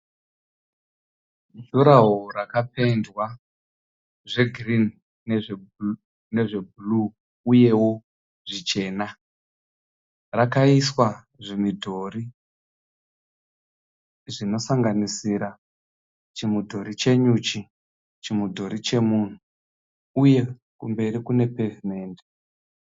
Juraho rakapendwa zvegirinhi nezvebhuruu uyewo zvichena. Rakaiswa zvimidhori zvinosanganisira chimudhori chenyuchi, chimudhori chemunhu uye kumberi kune pevhimendi.